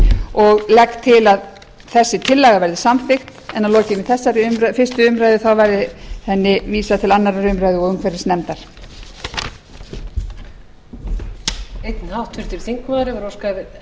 og legg til að þessi tillaga verði samþykkt en að lokinni þessari fyrri umræðu verði henni vísað til síðari umræðu og umhverfisnefndar